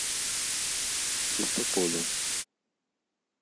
чистополе